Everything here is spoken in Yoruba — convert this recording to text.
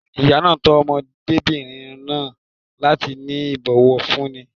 Ìyá náà tọ́ ọmọdébìnrin náà láti ní ìbòwọ̀fúní.